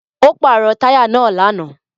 Ó pàrọ̀ táyà náà lánàá.